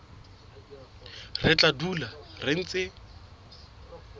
re tla dula re ntse